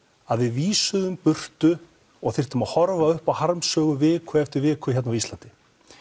að við vísuðum í burtu og þurftum að horfa upp á harmsögur viku eftir viku hérna á Íslandi